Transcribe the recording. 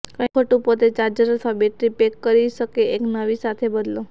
કંઈક ખોટું પોતે ચાર્જર અથવા બેટરી પેક કરી શકે એક નવી સાથે બદલો